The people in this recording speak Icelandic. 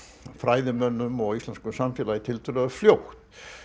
fræðimönnum og íslensku samfélagi tiltölulega fljótt